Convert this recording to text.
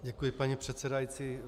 Děkuji, paní předsedající.